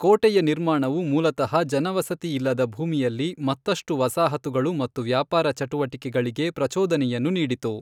ಕೋಟೆಯ ನಿರ್ಮಾಣವು ಮೂಲತಃ ಜನವಸತಿ ಇಲ್ಲದ ಭೂಮಿಯಲ್ಲಿ ಮತ್ತಷ್ಟು ವಸಾಹತುಗಳು ಮತ್ತು ವ್ಯಾಪಾರ ಚಟುವಟಿಕೆಗಳಿಗೆ ಪ್ರಚೋದನೆಯನ್ನು ನೀಡಿತು.